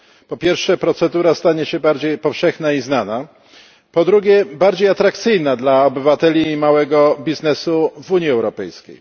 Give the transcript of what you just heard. Po pierwsze procedura stanie się bardziej powszechna i znana, po drugie bardziej atrakcyjna dla obywateli i małego biznesu w Unii Europejskiej.